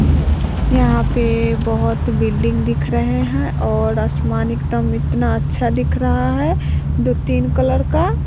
न यहां पे बहोत बिल्डिंग दिख रहे हैं और असमान एकदम इतना अच्छा दिख रहा है दो तीन कलर का।